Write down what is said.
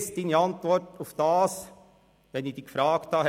Ich kenne Ihre Antwort, wenn ich Sie danach gefragt habe.